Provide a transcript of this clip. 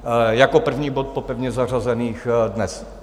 Jako první bod po pevně zařazených dnes.